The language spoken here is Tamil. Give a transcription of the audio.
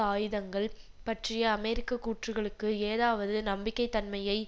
ஆயுதங்கள் பற்றிய அமெரிக்க கூற்றுக்களுக்கு ஏதாவது நம்பகத்தன்மையை